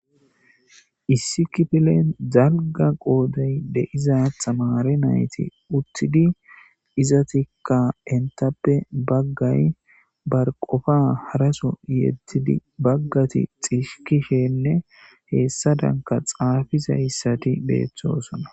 issi kifilen zalga qooday deiza tamaare nayti uttidi izatikka entappe baggay bar qofa haraso yettidi baggati xiskishenne heessadanka xaafizayssati beeththosona